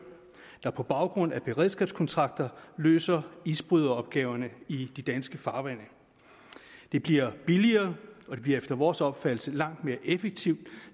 der på baggrund af beredskabskontrakter løser isbryderopgaverne i de danske farvande det bliver billigere og det bliver efter vores opfattelse langt mere effektivt